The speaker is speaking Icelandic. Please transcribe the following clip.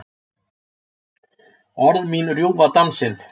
Orð mín rjúfa dansinn.